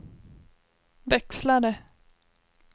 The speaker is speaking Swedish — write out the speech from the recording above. växlare